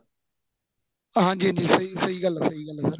ਹਾਂਜੀ ਹਾਂਜੀ ਸਹੀਂ ਗੱਲ ਸਹੀਂ ਗੱਲ ਏ sir